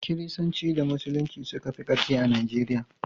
Kiristanci da Musulunci suka fi ƙarfi a Najeriya.